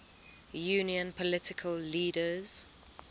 union political leaders